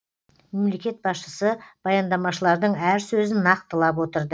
мемлекет басшысы баяндамашылардың әр сөзін нақтылап отырды